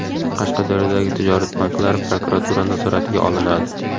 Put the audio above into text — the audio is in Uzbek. Qashqadaryodagi tijorat banklari prokuratura nazoratiga olinadi.